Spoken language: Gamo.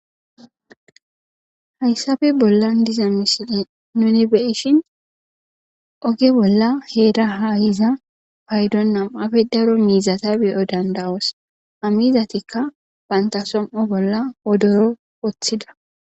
Hayssafe bollan diza misile nuni beyishin oge bolla heera haahiza paydon nam7afe daro miizata beyo dandawoos amizatikka bantasom7o bolla odoro woththida.